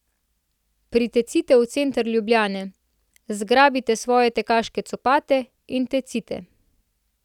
Pritecite v center Ljubljane, zgrabite svoje tekaške copate in tecite!